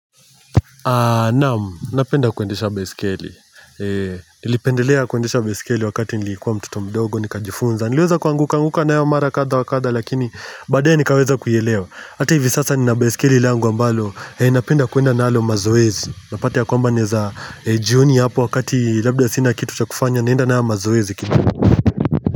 Naamu, napenda kuendesha baisikeli Nilipendelea kuendesha baiskeli wakati nilikuwa mtoto mdogo nikajifunza Niliweza kuangukaanguka nayo mara kadha wa kadha lakini baadaye nikaweza kuielewa. Ata hivi sasa nina baiskeli langu ambalo napenda kuenda nalo mazoezi. Unapata ya kwamba naeza jioni hapo wakati labda sina kitu cha kufanya naenda nayo mazoezi kini.